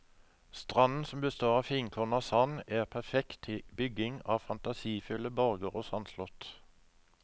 Stranden som består av finkornet sand er perfekt til bygging av fantasifulle borger og sandslott.